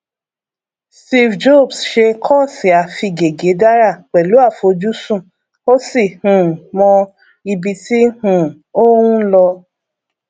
steve jobs ṣe kọọsì afigègédárà pẹlú àfojúsùn ó sì um mọ ibi tí um ó ń lọ